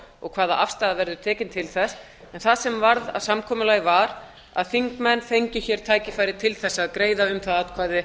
og hvaða afstaða verður tekin til þess en það sem varð að samkomulagi var að þingmenn fengju hér tækifæri til að greiða um það atkvæði